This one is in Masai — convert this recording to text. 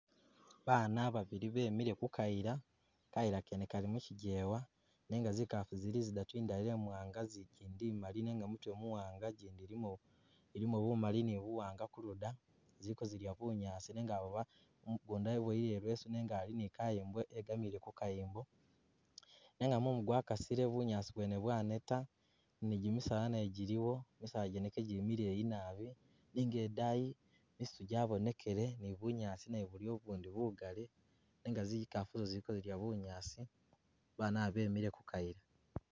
Bana babili bemile kukayila, kayila kene kali muchijewa, nenga zikafu zili zidatu indala emwanga zi kindi imali nenga mutwe muwanga, gyindi ilimo ilimo bumali ni buwanga kuluda, zili kozilya bunyaasi nenga awo ba mugunda weboyele i'leesu nenga ali ni kayimbo egamile kukayimbo, nenga mumu gwakasile bunyaasi bwene bwaneta ni gyimisaala nagyo gyiliwo, misaala gyene kejili mileyi nabi nenga idayi misiitu gyabonekele ni bunyaasi nabwo buliyo bubundi bugali nenga zikafu zo zili kozilya bunyaasi, Bana bo bemile kukayila